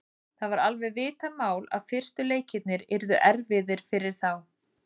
Það var alveg vitað mál að fyrstu leikirnir yrðu erfiðir fyrir þá.